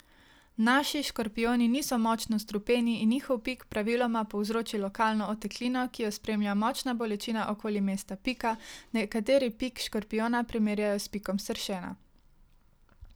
Naši škorpijoni niso močno strupeni in njihov pik praviloma povzroči lokalno oteklino, ki jo spremlja močna bolečina okoli mesta pika, nekateri pik škorpijona primerjajo s pikom sršena.